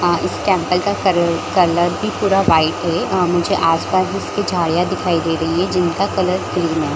अ इस टेम्पल का कल-- कलर भी पूरा वाइट है अ मुझे आस-पास उसके झाड़ियां दिखाई दे रही है जिनका कलर ग्रीन है।